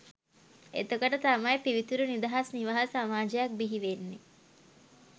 එතකොට තමයි පිවිතුරු නිදහස් නිවහල් සමාජයක් බිහිවෙන්නේ